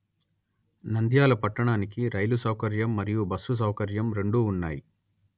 నంద్యాల పట్టణానికి రైలు సౌకర్యం మరియు బస్సు సౌకర్యం రెండూ ఉన్నాయి